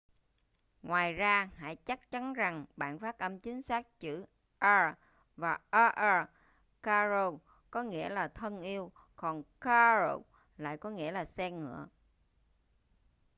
ngoài ra hãy chắc chắn rằng bạn phát âm chính xác chữ r và rr caro có nghĩa là thân yêu còn carro lại có nghĩa là xe ngựa